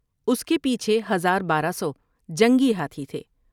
اس کے پیچھے ہزار بارہ سو جنگی ہاتھی تھے ۔